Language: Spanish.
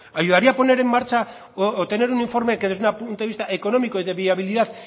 ayudaría poner en marcha o tener un informe que desde un punto de vista económico y de viabilidad